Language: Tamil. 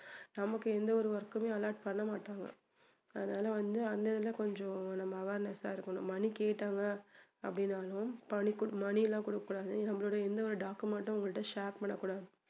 நமக்கு எந்த ஒரு work க்குமே allot பண்ணமாட்டாங்க அதனால வந்து அந்த இதுல கொஞ்சம் நம்ம awareness ஆ இருக்கணும் money கேட்டாங்க அப்படினாலும் பணி~ money எல்லாம் கொடுக்க கூடாது நம்மளோட எந்த ஒரு document டும் அவங்ககிட்ட share பண்ணகூடாது